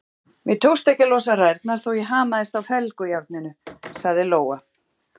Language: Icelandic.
Mér tókst ekki að losa rærnar þótt ég hamaðist á felgujárninu, sagði Lóa.